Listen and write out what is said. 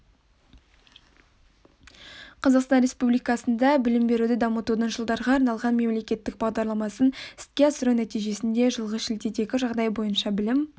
қазақстан республикасында білім беруді дамытудың жылдарға арналған мемлекеттік бағдарламасын іске асыру нәтижесінде жылғы шілдедегі жағдай бойынша білім